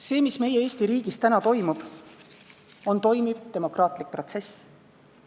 See, mis meie Eesti riigis täna toimub, on toimiv demokraatlik protsess.